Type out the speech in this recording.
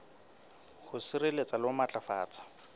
ho sireletsa le ho matlafatsa